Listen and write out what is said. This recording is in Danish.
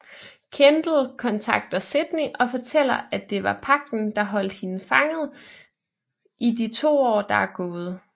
Kendall kontakter Sydney og fortæller at det var Pagten der holdt hende fanget i de 2 år der er gået